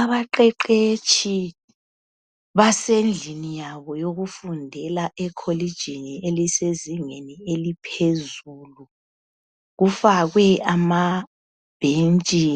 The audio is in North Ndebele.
Abaqeqetshi basendlini yabo yokufundela ekholijini esezingeni eliphezulu. Kufakwe amabhentshi